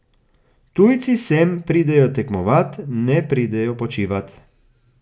Tujci sem pridejo tekmovat, ne pridejo počivat.